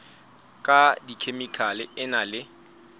ka dikhemikhale e na le